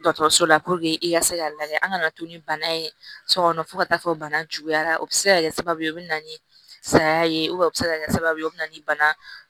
Dɔkɔtɔrɔso la i ka se k'a lajɛ an kana to ni bana ye so kɔnɔ fo ka taa fɔ bana juguyara o be se ka kɛ sababu ye o be na ni saya ye u bɛ se ka kɛ sababu ye o bɛ na ni bana